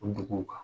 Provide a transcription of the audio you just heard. O duguw kan